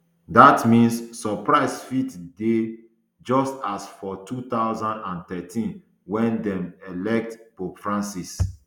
dat means surprise fit dey just as for two thousand and thirteen wen dem elect pope francis